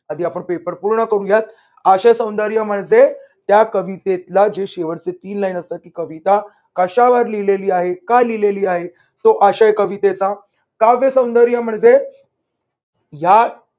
आधी आपण पेपर पूर्ण बघुयात. आशय सौंदर्य म्हणजे त्या कवितेतला जे शेवटचे तीन line असतात. ती कविता कशावर लिहिलेले आहे? का लिहिलेली आहे? तो आळशी कवितेचा काव्य सौंदर्य म्हणजे या